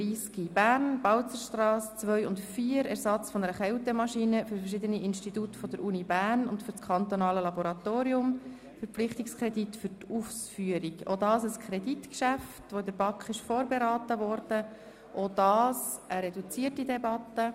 Dabei handelt es sich ebenfalls um ein von der BaK vorberatenes Kreditgeschäft, und wir führen auch hier eine reduzierte Debatte.